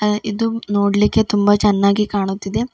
ಇದು ನೋಡ್ಲಿಕ್ಕೆ ತುಂಬಾ ಚೆನ್ನಾಗಿ ಕಾಣುತ್ತಿದೆ.